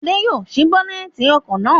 Adé yóò ṣí bónẹ́tì ọkọ̀ náà.